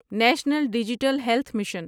national digital health mission